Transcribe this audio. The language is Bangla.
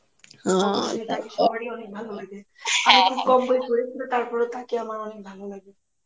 হুমায়ুন আহমেদ কে সবারই অনেক ভালো লাগে তাকে আমার অনেক ভালো লাগে.